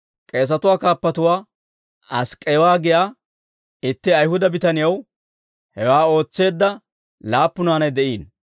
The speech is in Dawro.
K'eesatuwaa kaappuwaa Ask'k'eewa giyaa itti Ayihuda bitaniyaw hewaa ootseedda laappu naanay de'iino.